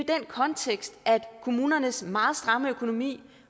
kontekst altså kommunernes meget stramme økonomi